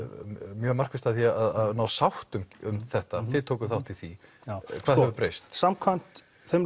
mjög markvisst að því að ná sáttum um þetta þið tókuð þátt í því hvað hefur breyst samkvæmt þeim